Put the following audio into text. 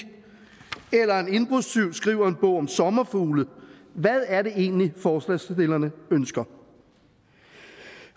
eller en indbrudstyv der skriver en bog om sommerfugle hvad er det egentlig forslagsstillerne ønsker